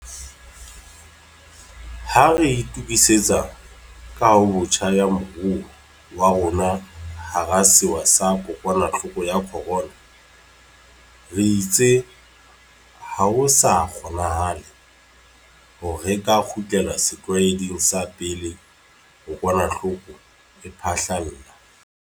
Ha re itukisetsa kahobotjha ya moruo wa rona hara sewa sa kokwanahloko ya corona, re itse ha ho sa kgonanahale hore re ka kgutlela setlwaeding sa pele kokwanahloko e phahlalla.